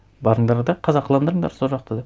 барыңдар да қазақыландырыңдар сол жақты деп